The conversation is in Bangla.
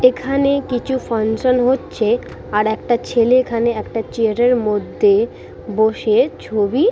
এখানে কিছু ফাংশন হচ্ছে আর একটা ছেলে এখানে একটা চেয়ার -এর মধ্যে বসে-এ ছবি--